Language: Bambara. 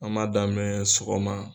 An m'a damɛ sɔgɔma